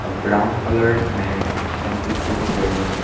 A brown coloured mat can be seen here in this.